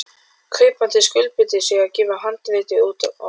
Kaupandi skuldbindur sig til að gefa handritið út á bók.